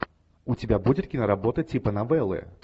у тебя будет киноработа типа новеллы